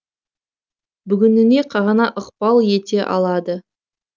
бүгініне ғана ықпал ете алады